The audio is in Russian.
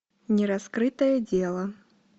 нераскрытое дело